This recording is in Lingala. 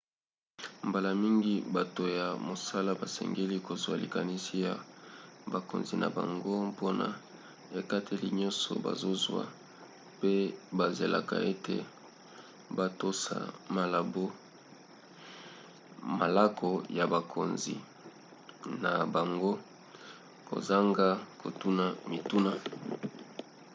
mbala mingi bato ya mosala basengeli kozwa likanisi ya bakonzi na bango mpona ekateli nyonso bazozwa pe bazelaka ete batosa malako ya bakonzi na bango kozanga kotuna mituna